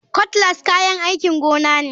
Cutlass kayan aikin gona ne.